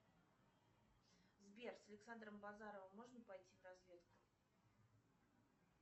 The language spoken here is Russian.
сбер с александром базаровым можно пойти в разведку